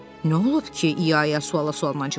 Nə olub ki, İa-ia suala sualla cavab verdi.